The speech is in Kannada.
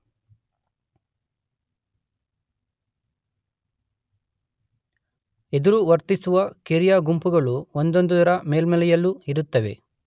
ಎದುರು ವರ್ತಿಸುವ ಕಿರಿಯ ಗುಂಪುಗಳು ಒಂದೊಂದರ ಮೇಲ್ಮೈಯಲ್ಲೂ ಇರುತ್ತವೆ.